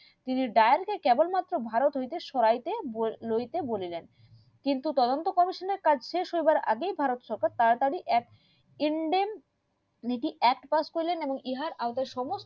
তিনি দেয়ার কে কেবল মাত্র ভারত হইতে সরাইতে লইতে বলিলেন কিন্তু তদন্ত গবেষণার কাজ শেষ হইবার আগেই ভারত থেকেই তাড়াতাড়ি এক ইন্দনে নীতির এক কাজ করিলেন মানে ইহার কাছে সমস্ত